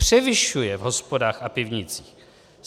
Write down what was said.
Převyšuje v hospodách a pivnicích.